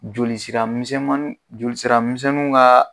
Joli sira misɛmannin joli sira misɛnmanw ka.